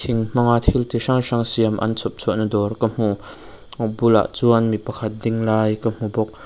thing hmanga thil chi hrang hrang siam an chhawpchhuahna dâwr ka hmu a bulah chuan mi pakhat ding lai ka hmu bawk--